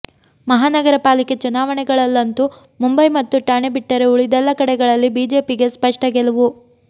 ಮಹಾನಗರ ಪಾಲಿಕೆ ಚುನಾವಣೆಗಳಲ್ಲಂತೂ ಮುಂಬೈ ಮತ್ತು ಠಾಣೆ ಬಿಟ್ಟರೆ ಉಳಿದೆಲ್ಲ ಕಡೆಗಳಲ್ಲಿ ಬಿಜೆಪಿಗೆ ಸ್ಪಷ್ಟ ಗೆಲುವು